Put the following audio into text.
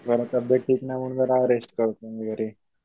जरा तब्बेत ठीक नाही म्हणून जरा रेस्ट करतोय मी घरी.